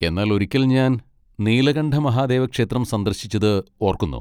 എന്നാൽ ഒരിക്കൽ ഞാൻ നീലകണ്ഠ മഹാദേവ ക്ഷേത്രം സന്ദർശിച്ചത് ഓർക്കുന്നു.